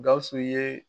Gawusu ye